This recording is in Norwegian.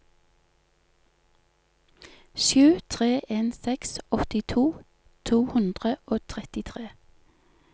sju tre en seks åttito to hundre og trettitre